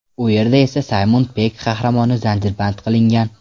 U yerda esa Saymon Pegg qahramoni zanjirband qilingan.